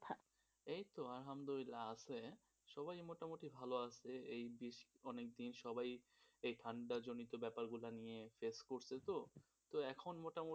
এই তো আহলদুল্লাহ আছে, সবাই মোটামুটি ভালো আছে, এই বেশ অনেকদিন সবাই এই ঠান্ডা জনিত ব্যাপারগুলা নিয়ে পড়ছে তো ত এখন মোটামুটি একটু ভালো হইছে,